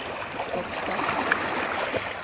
Docksta